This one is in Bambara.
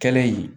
Kɛlen in